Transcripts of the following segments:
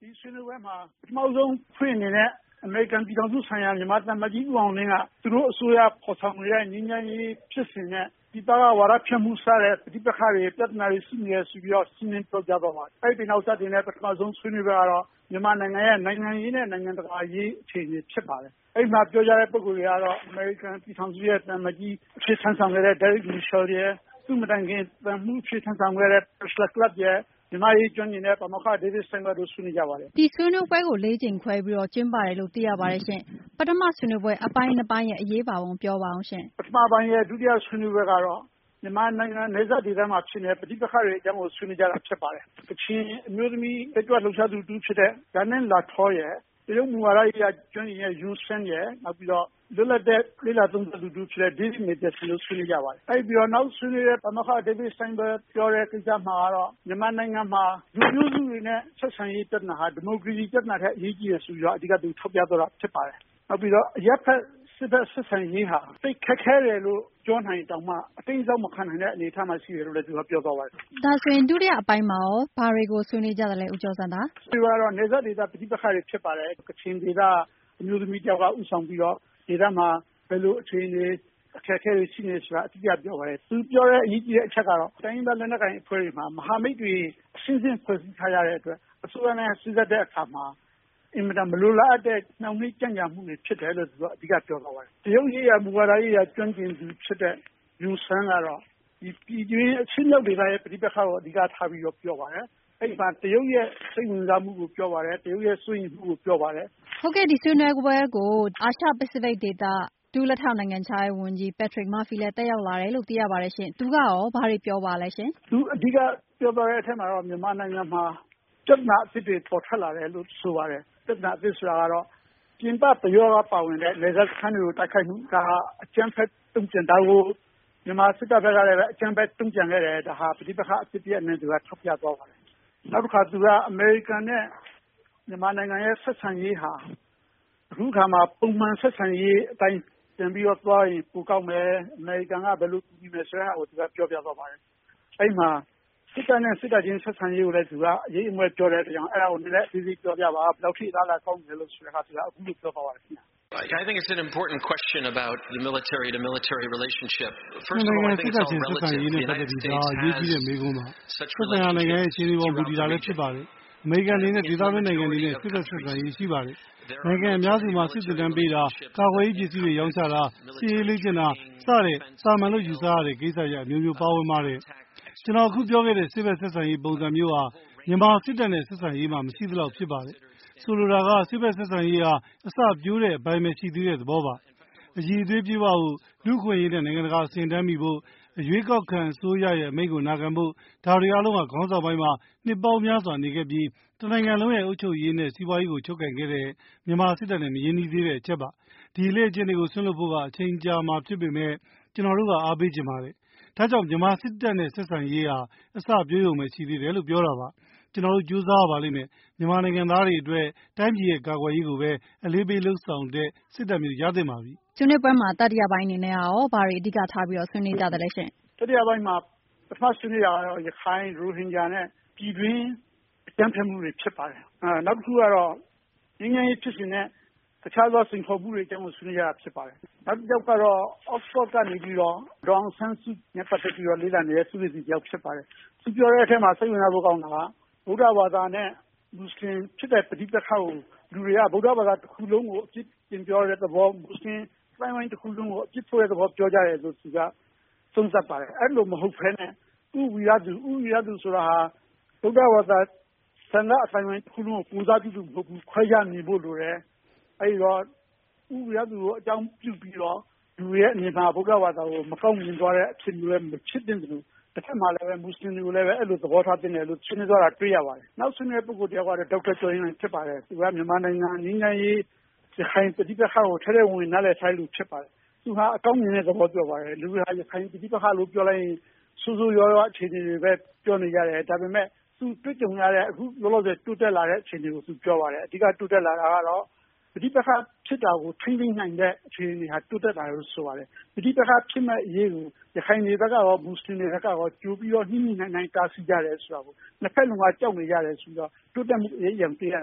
ဒီဆွေးနွေးပွဲမှာ ပထမဦးဆုံးအဖွင့်အနေနဲ့ အမေရိကန် ပြည်ထောင်စုဆိုင်ရာ မြန်မာသံအမတ်ကြီး ဦးအောင်လင်းက အစိုးရ ဖော်ဆောင်နေတဲ့ ငြိမ်းချမ်းရေး ဖြစ်စဉ်နဲ့ ပြည်ပက ဝါဒဖြန့်မှု စတဲ့ ပဋိပက္ခတွေ ပြဿနာတွေ ကို ရှင်းလင်းသွားပါတယ်။ အဲဒီနောက် စတင်တဲ့ ပထမဦးဆုံးဆွေးနွေးပွဲကတော့ မြန်မာနိုင်ငံရဲ့ နိုင်ငံရေးနဲ့ နိုင်ငံတကာအရေးအခြေအနေဖြစ်ပါတယ်။ အဲဒီမှာ ပြောကြတဲ့ ပုဂ္ဂိုလ်တွေကတော့ အမေရိကန် ပြည်ထောင်စုဆိုင်ရာ သံအမတ်ကြီးအဖြစ် တာဝန်ထမ်းဆောင်သွားခဲ့တဲ့ Derek Mitchell ရယ် သူ့မတိုင်ခင် သံမှူးအဖြစ် တာဝန်ထမ်းဆောင်ခဲ့တဲ့ Priscilla Clapp ရယ် မြန်မာ့အရေး ကျွမ်းကျင်တဲ့ ပါမောက္ခ David Steinberg တို့ဆွေးနွေးကြပါတယ်။ မေး။ ။ဒီဆွေးနွေးပွဲကို ၄ ကြိမ်ခွဲပြီးဆွေးနွေးတယ်လို့ သိရပါတယ် ၊ ပထမ ဆွေးနွေးပွဲရဲ့ အရေးပါပုံကို ပြောပါဦးရှင့်။ ဖြေ။ ။ပထမပိုင်းရဲ့ ဒုတိယဆွေးနွေးပွဲကတော့ မြန်မာနိုင်ငံ နယ်စပ်ဒေသမှာဖြစ်နေတဲ့ ပဋိပက္ခတွေအကြောင်းကို ဆွေးနွေးတာဖြစ်ပါတယ်။ ကချင်အမျိုးသမီး တက်ကြွလှုပ်ရှားသူဖြစ်တဲ့ Ja Nan Lahtaw ရယ် ၊ တရုတ်မူဝါဒကျွမ်းကျင်တဲ့ Yun Sun ရယ် ၊ လွတ်လပ်တဲ့ လေ့လာသုံးသပ်သူ တဦးဖြစ်တဲ့ David Mathieson တို့ဆွေးနွေးကြပါတယ်။ အဲဒါပြီးတော့ နောက်ဆွေးနွေးတဲ့ ပါမောက္ခ David Steinberg ပြောတဲ့ ကိစ္စမှာတော့ မြန်မာနိုင်ငံမှာ လူမျိုးစုတွေနဲ့ ဆက်ဆံရေးပြဿနာကတော့ ဒီမိုကရေစီပြဿနာထက် အရေးကြီးတယ်ဆိုပြီးတော့ သူထောက်ပြသွားတာဖြစ်ပါတယ်။ နောက်ပြီးတော့ အရပ်ဘက် စစ်ဘက် ဆက်ဆံရေးဟာ သိပ်ခက်ခဲတယ်လို့ ပြောနိုင်ရင်တောင်မှ အတိမ်းအစောင်းမခံနိုင်တဲ့အနေအထားမှာ ရှိတယ်လို့ သူကပြောသွားပါတယ်။ မေး။ ။ဒါဆိုရင် ဒုတိယအပိုင်းမှာရော ဘာတွေကိုဆွေးနွေသွားကြပါသလဲ ဦးကျော်ဇံသာ။ ဖြေ။ ။နယ်စပ်ဒေသပဋိပက္ခတွေ ဖြစ်ပါတယ်။ ကချင်အမျိုးသမီး Ja Nan Lahtaw ကနေ ဦးဆောင်ပြီးတော့ ဒေသမှာ ဘယ်လိုအခြေအနေ ၊ အခက်အခဲတွေရှိနေသလဲဆိုတာကို အဓိကပြောပါတယ်။ သူပြောတဲ့ အရေးကြီးတဲ့ အချက်ကတော့ တိုင်းရင်းသားလက်နက်ကိုင်အဖွဲ့တွေမှာ မဟာမိတ်တွေ အဆင့်ဆင့် ဖွဲ့စည်းထားကြတဲ့အတွက် အစိုးရနဲ့ စေ့စပ်ညှိနှိုင်းတဲ့အခါမှာ အင်မတန်မလိုလားအပ်တဲ့ နှောင့်နှေးကြန့်ကြာမှုတွေဖြစ်တယ်ဆိုတာကို အဓိကပြောသွားပါတယ်။ တရုတ်ရေးရာ မူဝါဒရေးရာကျွမ်းကျင်သူဖြစ်တဲ့ Yun Sun ကတော့ အရှေ့မြောက်ဒေသရဲ့ ပဋိပက္ခတွေကို အဓိကပြောပါတယ်။ အဲဒီမှာ တရုတ်ရဲ့ စိတ်ဝင်စားမှုကို အဓိကပြောပါတယ်၊ တရုတ်ရဲ့ စိုးရိမ်မှုကို အဓိကပြောပါတယ်။ မေး။ ။ဟုတ်ကဲ့ ဒီဆွေးနွေးပွဲကို အာရှပစိဖိတ်ဒေသ ဒုလက်ထောက်နိုင်ငံခြားရေးဝန်ကြီး Patrick Murphy လည်း တက်ရောက်လာတယ်လို့ သိရပါတယ်ရှင့်။ သူကရော ဘာတွေပြောပါသလဲ။ ဖြေ။ ။သူအဓိကပြောသွားတဲ့အထဲမှာတော့ မြန်မာနိုင်ငံမှာ ပြဿနာအသစ်တွေပေါ်ထွက်လာတယ်လို့ ဆိုပါတယ်။ ပြဿနာအသစ်ဆိုတာကတော့ ပြင်ပပယောဂ ပါဝင်တဲ့ နယ်စပ်စခန်းတွေကို တိုက်ခိုက်မှု၊ ဒါကို မြန်မာစစ်တပ်ဘက်ကလည်း အကြမ်းဖက်တုံ့ပြန်ခဲ့တယ် ဒါကို ပဋိပက္ခ တရပ်အနေနဲ့ သူထောက်ပြသွားပါတယ်။ နောက်တခါသူက အမေရိကန်နဲ့ မြန်မာရဲ့ ဆက်ဆံရေးဟာ အခုအခါမှာ ပုံမှန်ဆက်ဆံရေးအတိုင်းပြန်ပြီးတော့ သွားရင်ပိုကောင်းမယ် ၊ အမေရိကန်က ဘယ်လိုကူညီမယ်ဆိုတဲ့ဟာကို သူကပြောပြသွားပါတယ်။ အဲဒါကို စစ်တပ်နဲ့ စစ်တပ် ဆက်ဆံရေးကိုလည်း အရိပ်အမွက်ပြောတဲ့အတွက် အဲဒါကို အသေးစိတ်ပြောပြပါ၊ ဘယ်လောက်အထိ အလားအလာကောင်းသလဲ ဆိုတော့ သူက အခုလိုပြောသွားပါတယ်ခင်ဗျ။ “နှစ်နိုင်ငံ စစ်တပ်ချင်းဆက်ဆံရေးနဲ့ ပတ်သက်ပြီး ဒါဟာ အရေးကြီးတဲ့ မေးခွန်းပါ။ သက်ဆိုင်ရာ နိုင်ငံရဲ့ အခြေနေပေါ် မူတည်တာလည်း ဖြစ်ပါတယ်။ အမေရိကန်အနေနဲ့ ဒေသတွင်း နိုင်ငံတွေနဲ့ စစ်ဘက် ဆက်ဆံရေး ရှိပါတယ်။ နိုင်ငံအများစုမှာ စစ်သင်တန်းပေးတာ၊ ကာကွယ်ရေးပစ္စည်းတွေ ရောင်းချတာ၊ စစ်ရေးလေ့ကျင့်တာ၊ စတဲ့ သာမန်လို့ ယူဆရတဲ့ ကိစ္စရပ် အမျိုးမျိုး ပါဝင်ပါတယ်။ ကျွန်တော် အခုပြောခဲ့တဲ့ စစ်ဘက်ဆက်ဆံရေး ပုံစံမျိုးဟာ မြန်မာ့စစ်တပ်နဲ့ ဆက်ဆံရေးမှာ မရှိသလောက်ဖြစ်ပါတယ်။ ဆိုလိုတာက စစ်ဘက်ဆက်ဆံရေးဟာ အစပျိုးတဲ့ အပိုင်းပဲရှိသေးတဲ့ သဘောပါ။ အရည်သွေး ပြည့်ဝဖို့ လူ့အခွင့်ရေးနဲ့ နိုင်ငံတကာ အဆင့်တန်းမှီဖို့၊ အရွေးကောက်ခံ အစိုးရရဲ့ အမိန့်ကို နာခံဖို့၊ ဒါတွေ အားလုံးဟာ ခေါင်းဆောင်ပိုင်း မှာ နှစ်ပေါင်းများစွာ နေခဲ့ပြီး တနိုင်ငံလုံးရဲ့ အုပ်ချုပ်ရေးနဲ့ စီးပွါးရေးကို ချုပ်ကိုင်ခဲ့တဲ့ မြန်မာစစ်တပ်နဲ့ မရင်းနှီးသေး တဲ့ အချက်ပါ။ ဒီအလေ့ကျင့်တွေကို စွန့်လွှတ်ဖို့က အချိန်ကြာမှာ ဖြစ်ပေမယ့် ကျွန်တော်တို့က အားပေးချင်ပါတယ်။ ဒါ့ကြောင့် မြန်မာစစ်တပ်နဲ့ ဆက်ဆံရေးဟာ အစပျိုးရုံပဲ ရှိသေးတယ်လို့ ပြောတာပါ။ ကျွန်တော်တို့ ကြိုးစားရပါလိမ့်မယ်။ မြန်မာနိုင်ငံသားတွေ အတွက် တိုင်းပြည်ရဲ့ ကာကွယ်ရေးကိုပဲ အလေးပေးလုပ်ဆောင်တဲ့ စစ်တပ်မျိုး ရသင့်ပါပြီ။ မေး။ ။ ဆွေးနွေးပွဲမှာ တတိယအပိုင်းမှာရော ဘာတွေအဓိကထား ဆွေးနွေသွားကြပါသလဲ ။ ဖြေ။ ။တတိယအပိုင်းမှ ပထမဆွေးနွေးတာကတော့ ရခိုင်၊ ရိုဟင်ဂျာနဲ့ ပြည်တွင်းအကြမ်းဖက်မှု တွေဖြစ်ပါတယ်။ နောက်တခုကတော့ ငြိမ်းချမ်းရေးဖြစ်စဉ်နဲ့ တခြားစိန်ခေါ်မှုတွေ အကြောင်းကိုဆွေးနွေးကြတာ ဖြစ်ပါတယ်။ နောက်တယောက်ကတော့ Oxford ကနေ ဒေါ်အောင်ဆန်းစုကြည်နဲ့ ပတ်သက်ပြီးတော့ လေ့လာနေတဲ့ သူတယောက်ဖြစ်ပါတယ်။ သူပြောတဲ့အထဲမှာ စိတ်ဝင်စားဖို့ကောင်းတာက ဗုဒ္ဓဘာသာနဲ့ မွတ်စလင်ဖြစ်တဲ့ ပဋိပက္ခကို လူတွေက ဗုဒ္ဓဘာသာတခုလုံးကို အပြစ်တင် ပြောတဲ့သဘော ၊ မွတ်စလင် အသိုင်းအဝိုင်းတခုလုံးကို အပြစ်ဖို့တဲ့သဘောပြောကြတယ်လို့ သူက သုံးသပ်ပါတယ် ။ အဲဒီလိုမဟုတ်ပဲနဲ့ ဦးဝီရသူဆိုတာက ဗုဒ္ဓဘာသာ သာသနာ့အသိုင်းအဝိုင်းတခုလုံးကို ကိုယ်စားပြုသူမဟုတ်ဘူး ၊ အဲဒါကို ခွဲခြားမြင်ဖို့လိုတယ် အဲဒီတော့ ဦးဝီရသူကို အကြောင်းပြုပြီးတော့ လူတွေအမြင်မှာ ဗုဒ္ဓဘာသာ ကို မကောင်းမြင်သွားတဲ့ အဖြစ်မျိုးလည်း မဖြစ်သင့်သလို တဖက်မှာလည်း မွတ်စလင်တွေကိုလည်း အဲဒီလို သဘောထားသင့်တယ်လို့ ဆွေးနွေးသွားပါတယ်။ နောက်ဆွေးနွေးတာကတော့ ဒေါက်တာ ကျော်ရင်လှိုင် ဖြစ်ပါတယ်။ သူက မြန်မာနိုင်ငံ ငြိမ်းချမ်းရေး၊ ရခိုင်ပဋိပက္ခကို ထဲထဲဝင်ဝင်နားလည်ထားတဲ့လူဖြစ်ပါတယ်။ သူကအကောင်းမြင်တဲ့ သဘောပြောပါတယ် လူတွေက ရခိုင် ပဋိပက္ခလို့ပြောလိုက်ရင် ဆိုးဆိုးရွားရွားအခြေအနေတွေပဲပြောနေကြတယ် ဒါပေမယ့် သူတွေ့ကြုံရတဲ့ လောလောဆယ် အခြေအနေကို သူပြောပါတယ် အဓိက ပဋိပက္ခဖြစ်တာကို ထိန်းသိမ်းနိုင်တဲ့အခြေအနေဟာ တိုးတက်လာတယ်လို့ ဆိုပါတယ်။ ပဋိပက္ခွဖြစ်မယ့်အရေးကို ရခိုင်တွေဘက်ကရော မွတ်စလင်တွေဘက်ကရော ကြိုပြီးတော့ ညှိညှိနှိုင်းနှိုင်း တားဆီးကြတယ်ဆိုတာကို ၊ နှစ်ဘက်စလုံးက ထိန်းတာဟာ တိုးတက်မှုဖြစ်တယ်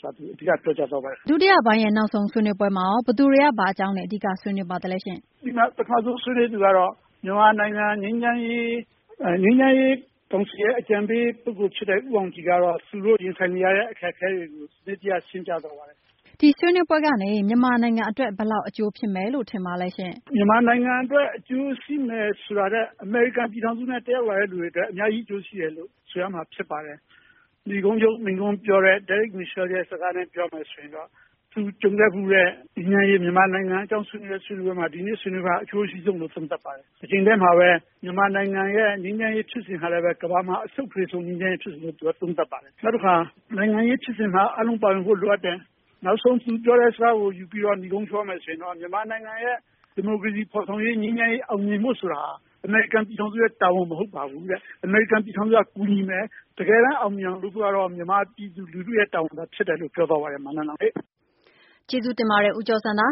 ဆိုတာကို သူပြောကြားသွားပါတယ်။ မေး။ ။ဒုတိယပိုင်းရဲ့ နောက်ဆုံးဆွေးနွေးပွဲမှာရော ဘယ်သူတွေက ဘာအကြောင်း အဓိက ဆွေးနွေး ပါသလဲရှင့်။ ဖြေ။ ။ ပထမဆုံးဆွေးနွေးသူကတော့ မြန်မာနိုင်ငံ ငြိမ်းချမ်းရေးကောင်စီအကြံပေး ပုဂ္ဂိုလ်ဖြစ်တဲ့ ဦးအောင်ကြည်ကတော့ သူတို့ရင်ဆိုင်နေရတဲ့ အခက်အခဲတွေကိုရှင်းပြသွားပါတယ်။ မေး။ ။ဒီဆွေးနွေးပွဲကနေ မြန်မာနိုင်ငံအတွက် ဘယ်လောက်အကျိုးဖြစ်မယ်လို့ထင်ပါသလဲ ။ ဖြေ။ ။မြန်မာနိုင်ငံအတွက်အကျိုးရှိမယ်ဆိုတာထက် အမေရိကန်ပြည်ထောင်စုနဲ့ တက်ရောက်လာသူတွေအတွက် အများကြီး အကျိုးရှိမယ်လို့ထင်ပါတယ်။ နိဂုံးချုပ်မိန့်ခွန်းပြောတဲ့ Derek Mitchell ရဲ့စကားနဲ့ ပြောမယ်ဆိုရင်တော့ သူကြုံခဲ့ဖူးတဲ့ မြန်မာနိုင်ငံအကြောင်းဆွေးနွေးပွဲမှာ ဒီကနေ့ဆွေးနွေးပွဲက အကျိုးအရှိဆုံးလို့ သုံးသပ်ပါတယ် တချိန်တည်းမှာပဲ မြန်မာနိုင်ငံရဲ့ ငြိမ်းချမ်းရေးဖြစ်စဉ်ဟာလည်း ကမ္ဘာမှာ အရှုပ်ထွေးဆုံးလို့ သူက သုံးသပ်ပါတယ်။ နောက်တခါ နိုင်ငံရေးဖြစ်စဉ်မှာ အားလုံးပါဝင်ဖို့ လိုအပ်တယ်၊ နောက်ဆုံး သူပြောတဲ့ စကားကိုယူပြီးတော့ နိဂုံးချုပ်ရမယ်ဆိုရင်တော့ မြန်မာနိုင်ငံရဲ့ ဒီမိုကရေစီဖော်ဆောင်ရေး၊ ငြိမ်းချမ်းရေးအောင်မြင်ဖို့ဆိုရင် အမေရိကန်ပြည်ထောင်စုရဲ့ တာဝန်မဟုတ်ပါဘူးတဲ့ ၊ အမေရိကန်ပြည်ထောင်စုက ကူညီမယ် တကယ်တမ်းအောင်မြင်အောင်လုပ်ဖို့ဆိုတာက မြန်မာပြည်သူလူထုရဲ့တာဝန်ဖြစ်ပါတယ်လို့ပြောသွားပါတယ် နန်းလောင်ဝ်ရေ။ မေး။ ။ကျေးဇူးတင်ပါတယ် ဦးကျော်ဇံသာ